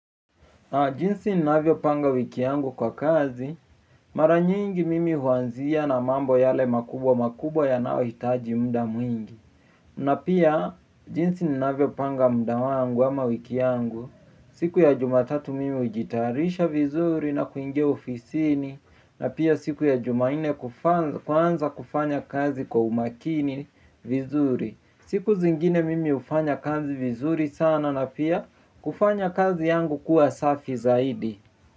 Jinsi ninavyopanga wiki yangu kwa kazi, mara nyingi mimi huanzia na mambo yale makubwa makubwa yanayohitaji muda mwingi. Na pia jinsi ninavyopanga muda wangu ama wiki yangu, siku ya jumatatu mimi hujitarisha vizuri na kuingia ofisini, na pia siku ya jumanne kuanza kufanya kazi kwa umakini vizuri. Siku zingine mimi hufanya kazi vizuri sana na pia kufanya kazi yangu kuwa safi zaidi.